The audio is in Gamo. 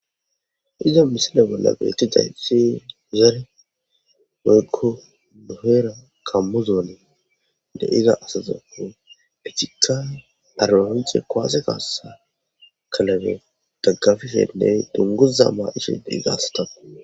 iza misile bolla beetti zaysi zare meykko nohera kammuzone de7iza asazako pichika parolonce kowase kaassa kalabe daggafifenney dunguza maa ishe digasatau